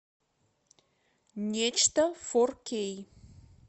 нечто фор кей